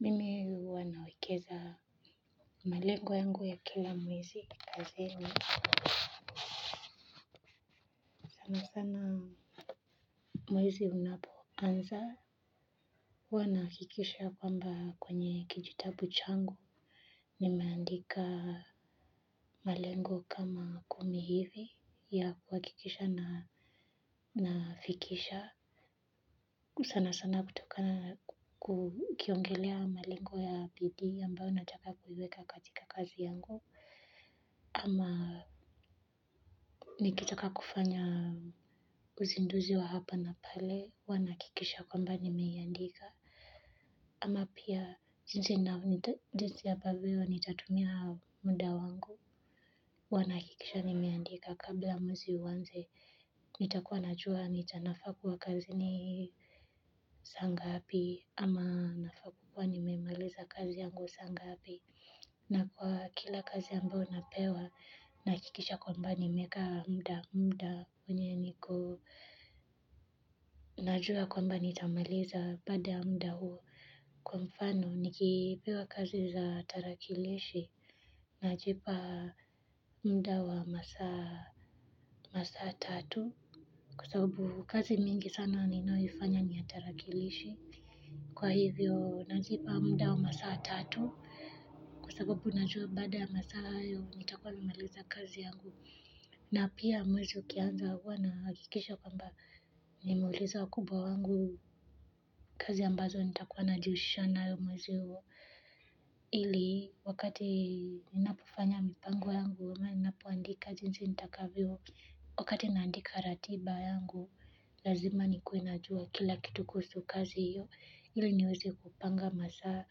Mimi huwa nawekeza malengo yangu ya kila mwezi kazi ni sana sana mwezi unapoanza huwa na kikisha kwamba kwenye kijitabu changu. Ninaandika malengo kama kumi hivi ya kuhakikisha na nafikisha sana sana kutokana kukiongelea malengo ya bidii ambayo nataka kuiweka katika kazi yangu ama nikitaka kufanya uzinduzi wa hapa na pale huwa nahakikisha kwamba nimeiandika ama pia jinsi na jinsi ya ambavyo nitatumia muda wangu huwa nahakikisha nimeandika kabla mwezi uwanze nitakuwa najuwa nitanafakuwa kazi ni saangapi ama nafaa kuwa nimemaliza kazi yangu saangapi na kwa kila kazi ambao napewa nahakikisha kwamba nimekaa mda mda wenye niko najua kwamba nitamaliza baada ya muda huo kwa mfano nikipewa kazi za tarakilishi. Najipa mda wa masaa tatu kwasababu kazi mingi sana ninaoifanya ni ya tarakilishi kwa hivyo najipa mda wa masaa tatu kwasababu najua baada ya masaa hayo nitakuwa nimemaliza kazi yangu na pia mwezi ukianza huwa nahakikisha kwamba nimeuliza wakubwa wangu kazi ambazo nitakuwa najihusisha nayo mwezi huo ili wakati ninapofanya mipango yangu ama ninapoandika jinsi nitakavyo wakati naandika ratiba yangu lazima nikue najua kila kitu kuhusu kazi hiyo ili niweze kupanga masaa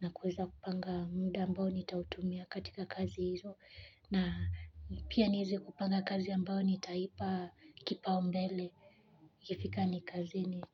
na kuweza kupanga muda ambao nitautumia katika kazi hizo na pia nieze kupanga kazi ambao nitaipa kipaumbele ikifika ni kazini.